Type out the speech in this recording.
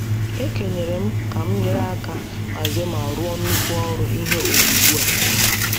E kenyere m ka m nyere aka hazie ma rụọ nnukwu ọrụ ihe owuwu a.